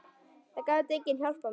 Það gat enginn hjálpað mér.